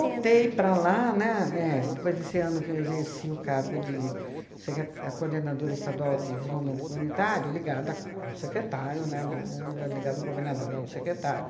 voltei para lá, né, é, depois desse ano que eu exerci o cargo de secr a coordenadora estadual de desenvolvimento comunitário, ligada ao secretário, né, não era ligada ao governador, era ao secretário.